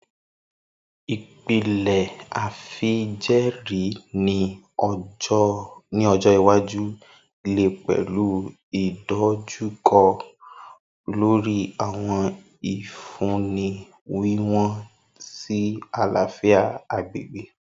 Ipilẹ afijẹẹri ni ọjọ iwaju le pẹlu idojukọ lori awọn ifunni wiwọn si alafia agbegbe.